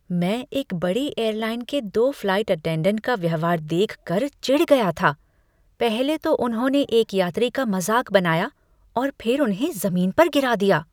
मैं एक बड़ी एयरलाइन के दो फ़्लाइट अटेंडेंट का व्यवहार देखकर चिढ़ गया था। पहले तो उन्होंने एक यात्री का मजाक बनाया और फिर उन्हें जमीन पर गिरा दिया।